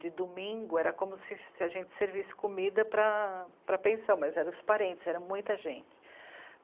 De domingo era como se se a gente servisse comida para a... para a pensão, mas era os parentes, era muita gente.